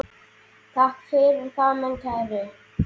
Takk fyrir það, minn kæri.